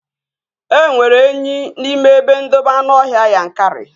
E nwere enyi n'ime ebe ndobe anụọhịa Yankari